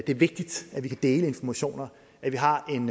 det er vigtigt at vi kan dele informationer at vi har en